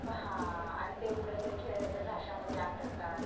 आणि ते मूळ ते खेळण्याच्या झाशा मध्ये आटकतात.